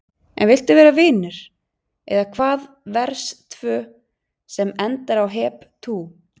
En viltu vera vinur, eða hvaðVERS 2 sem endar á Hep tú!